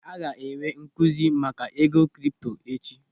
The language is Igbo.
A ga-enwe nkụzi maka ego kripto echi.